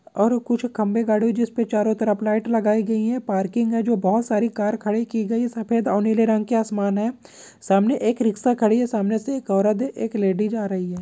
और कुछ खंबे गड़े हुए हैं जिसपे चारो तरफ लाइट लगाई गई हैं पार्किंग हैं जो बहुत सारी कार खड़ी की गयी सफ़ेद और नीले रंग की आसमान हैं एक रिक्शा खड़ी हैं सामने से एक औरत हैं एक लेडी जा रही हैं।